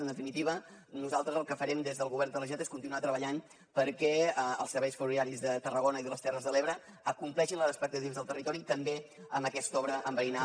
en definitiva nosaltres el que farem des del govern de la generalitat és continuar treballant perquè els serveis ferroviaris de tarragona i de les terres de l’ebre acompleixin les expectatives del territori també amb aquesta obra enverinada